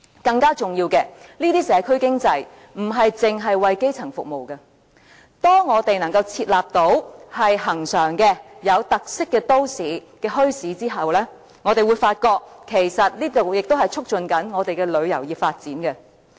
更重要的是，這些社區經濟活動不止為基層服務，當我們能夠設立恆常和有特色的墟市後，我們會發覺其實亦同時在促進旅遊業發展。